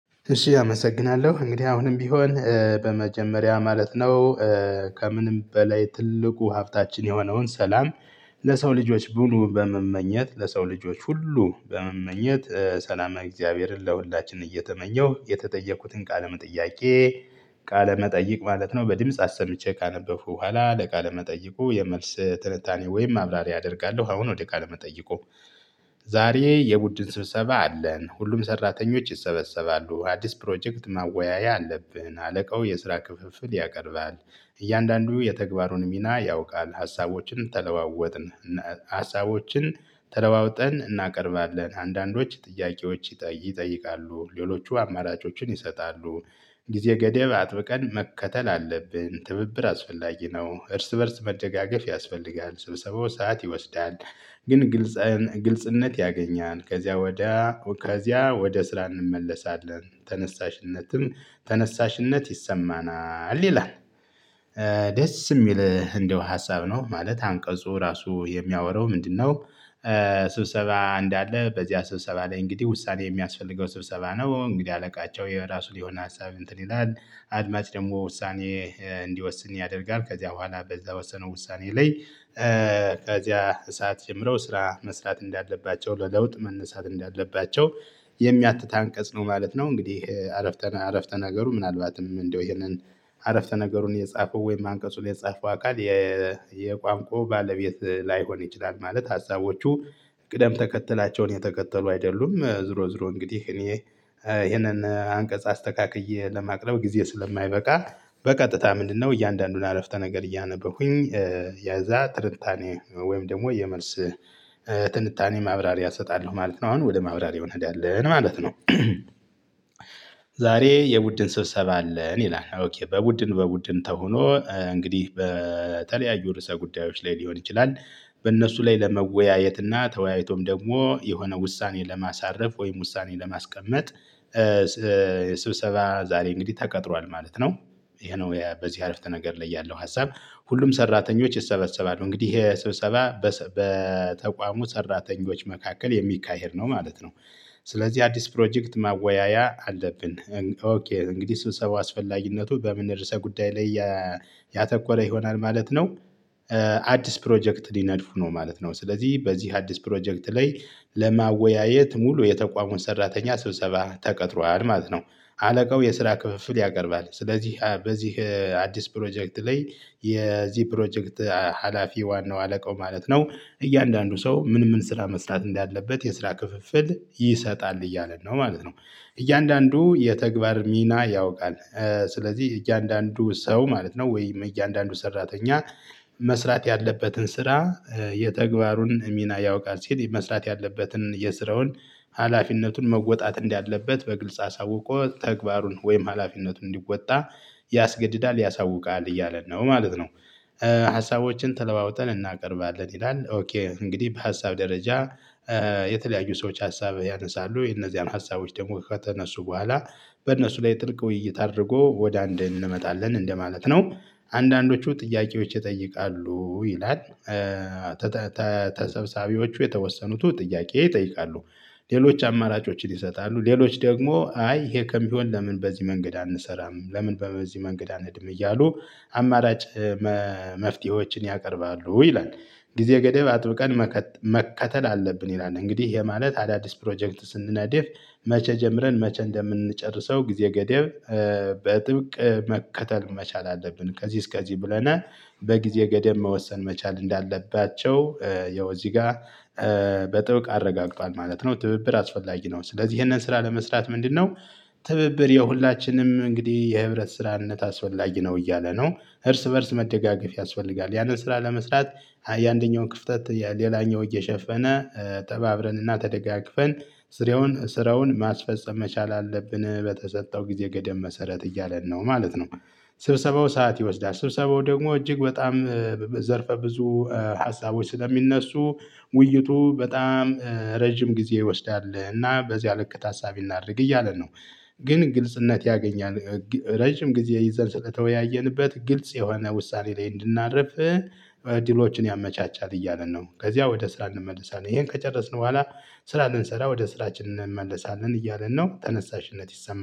እሺ አመሰግናለሁ እንግዲህ አሁንም ቢሆን በመጀመሪያ ማለት ነው። ከምንም በላይ ትልቁ ሀብታችን የሆነውን ሰላም ለሰው ልጆች ሙሉ በመመኘት ለሰው ልጆች ሁሉ በመመኘት ሰላም እግዚአብሔርን ለሁላችን እየተመኘሁ የተጠየቁትን ቃለም ጥያቄ ቃለ መጠይቅ ማለት ነው በድምጽ አሰምቼ ካነበብኩ በኋላ ለቃለ ለመጠየቁ የመልስ ትንታኔ ወይም ማብራሪያ አደርጋለሁ። አሁን ወደ ቃለ መጠየቁ። መጠይቁ ዛሬ የቡድን ስብሰባ አለን ሁሉም ሰራተኞች ይሰበሰባሉ አዲስ ፕሮጀክት ማወያያ አለብህና አለቃው የስራ ክፍፍል ያቀርባል። እያንዳንዱ የተግባሩን ሚና ያውቃል ሀሳቦችን ተለዋወጥን ሀሳቦችን ተለዋውጠን እናቀርባለን አንዳንዶች ጥያቄዎች ይጠይቃሉ ሌሎቹ አማራጮችን ይሰጣሉ። ጊዜ ገደብ አጥብቀን መከተል አለብን ትብብር አስፈላጊ ነው እርስ በእርስ መደጋገፍ ያስፈልጋል ስብሰባው ሰዓት ይወስዳል። ግን ግልጽነት ያገኛል ከዚያ ወዲያ ከዚያ ወደ ስራ እንመለሳለን። ተነሳሽነትም ተነሳሽነት ይሰማናል ይላል። ደስ የሚል እንደው ሀሳብ ነው ማለት አንቀጹ ራሱ የሚያወራው ምንድነው? ስብሰባ እንዳለ በዚህ ስብሰባ ላይ እንግዲህ ውሳኔ የሚያስፈልገው ስብሰባ ነው። እንግዲህ አለቃቸው የራሱን የሆነ ሀሳብ እንትን ይላል አድማጭ ደግሞ ውሳኔ እንዲወስን ያደርጋል ከዚያ በኋላ በዛ ወሰነው ውሳኔ ላይ። ከዚያ ሳዓት ጀምረው ስራ መስራት እንዳለባቸው ለለውጥ መነሳት እንዳለባቸው የሚያትታ አንቀጽ ነው ማለት ነው። እንግዲህ አረፍተ ነገሩ ምናልባትም እንደው ይሄንን አረፍተ ነገሩን የጻፈው ወይም አንቀጹን የጻፈው አካል የቋንቋው ባለቤት ላይሆን ይችላል። ማለት ሀሳቦቹ ቅደም ተከተላቸውን የተከተሉ አይደሉም። ዝሮ ዝሮ እንግዲህ እኔ ይሄንን አንቀጽ አስተካክዬ ለማቅረብ ጊዜ ስለማይበቃ። በቀጥታ ምንድነው እያንዳንዱን አረፍተ ነገር እያነበሁኝ። ያዛ ትርንታኔ ወይም ደግሞ የመልስ ትንታኔ ማብራሪያ እሰጣለሁ ማለት ነው። አሁን ወደ ማብራሪያው እንሄዳለን ማለት ነው። ዛሬ የቡድን ስብሰባ አለን ይላል። በቡድን በቡድን ተሆኖ እንግዲህ በተለያዩ ርዕሰ ጉዳዮች ላይ ሊሆን ይችላል በእነሱ ላይ ለመወያየትና ተወያይቶም ደግሞ የሆነ ውሳኔ ለማሳረፍ ወይም ውሳኔ ለማስቀመጥ። ስብሰባ ዛሬ እንግዲህ ተቀጥሯል ማለት ነው። ይሄ ነው በዚህ አረፍተ ነገር ላይ ያለው ሀሳብ። ሁሉም ሰራተኞች ይሰበሰባሉ እንግዲህ ይሄ ስብሰባ በተቋሙ ሰራተኞች መካከል የሚካሄድ ነው ማለት ነው። ስለዚህ አዲስ ፕሮጀክት ማወያያ አለብን። ኦኬ እንግዲህ ስብሰባው አስፈላጊነቱ በምን ርዕሰ ጉዳይ ላይ ያተኮረ ይሆናል ማለት ነው። አዲስ ፕሮጀክት ሊነድፉ ነው ማለት ነው ስለዚህ በዚህ አዲስ ፕሮጀክት ላይ ለማወያየት ሙሉ የተቋሙን ሰራተኛ ስብሰባ ተቀጥሯል ማለት ነው። አለቃው የስራ ክፍፍል ያቀርባል ስለዚህ በዚህ አዲስ ፕሮጀክት ላይ የዚህ ፕሮጀክት ሀላፊ ዋናው አለቃው ማለት ነው። እያንዳንዱ ሰው ምን ምን ስራ መስራት እንዳለበት የስራ ክፍፍል ይሰጣል እያለ ነው ማለት ነው። እያንዳንዱ የተግባር ሚና ያውቃል። ስለዚህ እያንዳንዱ ሰው ማለት ነው ወይም እያንዳንዱ ሰራተኛ መስራት ያለበትን ስራ የተግባሩን ሚና ያውቃል ሲል መስራት ያለበትን የስራውን ሀላፊነቱን መወጣት እንዳለበት በግልጽ አሳውቆ ተግባሩን ወይም ሀላፊነቱን እንዲወጣ ያስገድዳል ያሳውቃል እያለ ነው ማለት ነው። ሀሳቦችን ተለዋውጠን እናቀርባለን ይላል ኦኬ እንግዲህ በሀሳብ ደረጃ የተለያዩ ሰዎች ሀሳብ ያነሳሉ የነዚያን ሀሳቦች ደግሞ ከተነሱ በኋላ በእነሱ ላይ ጥልቅ ውይይት አድርጎ ወደ አንድ እንመጣለን እንደማለት ነው። አንዳንዶቹ ጥያቄዎች ይጠይቃሉ ይላል። ተሰባሳቢዎቹ የተወሰኑት ጥያቄ ይጠይቃሉ። ሌሎች አማራጮችን ይሰጣሉ ሌሎች ደግሞ አይ ይሄ ከሚሆን ለምን? በዚህ መንገድ አንሰራም ለምን? በዚህ መንገድ አንሄድም እያሉ አማራጭ መፍትሄዎችን ያቀርባሉ ይላል። ጊዜ ገደብ አጥብቀን መከተል አለብን ይላል። እንግዲህ የማለት አዳዲስ ፕሮጀክት ስንነደፍ መቼ ጀምረን መቼ እንደምንጨርሰው ጊዜ ገደብ በጥብቅ መከተል መቻል አለብን ከዚህ እስከዚህ ብለናል። በጊዜ ገደብ መወሰን መቻል እንዳለባቸው ያው እዚህ ጋር በጥብቅ አረጋግጧል ማለት ነው። ትብብር አስፈላጊ ነው ስለዚህ ይሄንን ስራ ለመስራት ምንድነው? ትብብል የሁላችንም እንግዲህ የህብረት ስራነት አስፈላጊ ነው እያለ ነው። እርስ በእርስ መደጋገፍ ያስፈልጋል ያንን ስራ ለመስራት ያንደኛውን ክፍተት ሌላኛው እየሸፈነ ተባብረንና ተደጋግፈን ስራውን ስራውን ማስፈጸም መቻል አለብን በተሰጠው ጊዜ ገደብ መሰረት እያለን ነው ማለት ነው። ስብሰባው ሰዓት ይወስዳል ስብሰባው ደግሞ እጅግ በጣም ዘርፈ ብዙ ሀሳቦች ስለሚነሱ ውይይቱ በጣም ረጅም ጊዜ ይወስዳል እና በዚህ ልክ ታሳቢ እናድርግ እያለ ነው። ግን ግልጽነት ያገኛል። ረጅም ጊዜ ይዘን ስለተወያየንበት ግልጽ የሆነ ውሳኔ ላይ እንድናደርፍ እድሎችን ያመቻቻል እያለን ነው። ከዚያ ወደ ስራ እንመለሳለን ይሄን ከጨረስን በኋላ ስራ ልንሰራ ወደ ስራችን እንመለሳለን እያለን ነው። ተነሳሽነት ይሰማን